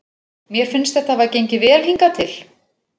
Mér finnst þetta hafa gengið vel hingað til.